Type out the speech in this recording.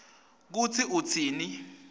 kutsi utsini